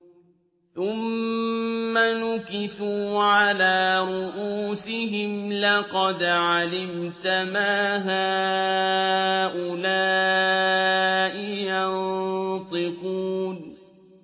ثُمَّ نُكِسُوا عَلَىٰ رُءُوسِهِمْ لَقَدْ عَلِمْتَ مَا هَٰؤُلَاءِ يَنطِقُونَ